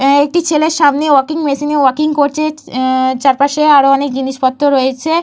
এহ একটি ছেলে সামনে ওয়াকিং মেশিন ওয়াকিং করছে। এহ চারপাশে আরও অনেক জিনিসপত্র রয়েছে।